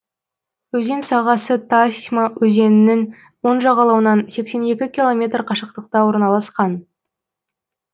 өзен сағасы тасьма өзенінің оң жағалауынан сексен екі километр қашықтықта орналасқан